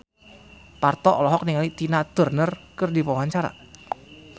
Parto olohok ningali Tina Turner keur diwawancara